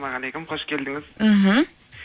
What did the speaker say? қош келдіңіз мхм